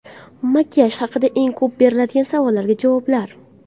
Makiyaj haqida eng ko‘p beriladigan savollarga javoblar.